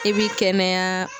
I bi kɛnɛya